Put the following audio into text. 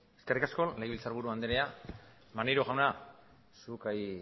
eskerrik asko legebiltzarburu andrea maneiro jauna zuk